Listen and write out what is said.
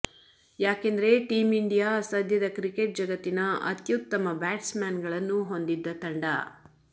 ಯಾಕೆಂದರೆ team India ಸದ್ಯದ cricket ಜಗತ್ತಿನ ಅತ್ಯುತ್ತಮ ಬ್ಯಾಟ್ಸ್ ಮ್ಯಾನ್ ಗಳನ್ನು ಹೊಂದಿದ್ದ ತಂಡ